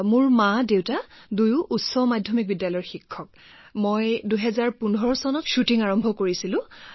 মোৰ মাদেউতা দুয়োজনেই হাইস্কুলৰ শিক্ষক গতিকে ২০১৫ চনত শ্বুটিং আৰম্ভ কৰিলোঁ